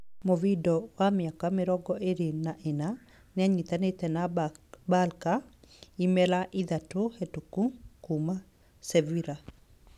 Muvidal wa miaka mĩrongo ĩĩrĩ na ĩnana nĩanyitanire na Barca imera ithatu hetũku, kuuma Sevilla.